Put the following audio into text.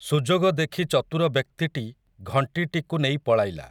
ସୁଯୋଗ ଦେଖି ଚତୁର ବ୍ୟକ୍ତିଟି ଘଂଟିଟିକୁ ନେଇ ପଳାଇଲା ।